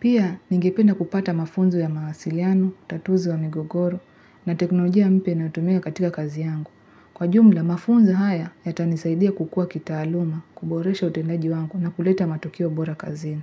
Pia, ningependa kupata mafunzo ya mawasiliano, utatuzi wa migogoro, na teknolojia mpya inayotumika katika kazi yangu. Kwa jumla mafunzo haya yatanisaidia kukuwa kitaaluma, kuboresha utendaji wangu na kuleta matokeo bora kazini.